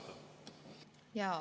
Aitäh!